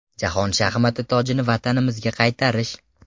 Jahon shaxmat tojini vatanimizga qaytarish.